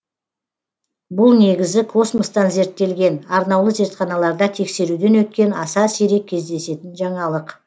бұл негізі космостан зерттелген арнаулы зертханаларда тексеруден өткен аса сирек кездесетін жаңалық